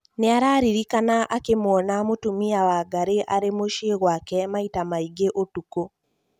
nĩararirikana akĩmũona mũtũmia Wangari arĩ mũciĩ gwake maita mangĩ ũtũkũ